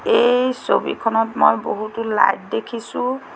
এই ছবিখনত মই বহুতো লাইট দেখিছোঁ।